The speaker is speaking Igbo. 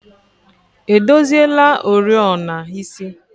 edozila oriọna isi?